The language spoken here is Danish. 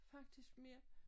Faktisk mere